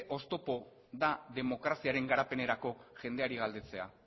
oztopo da demokraziaren garapenerako jendeari galdetzea